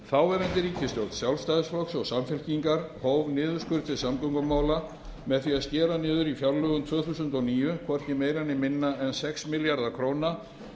þáverandi ríkisstjórn sjálfstæðisflokks og samfylkingar hóf niðurskurð til samgöngumála með því að skera niður í fjárlögum tvö þúsund og níu hvorki meira né minna en sex milljarða króna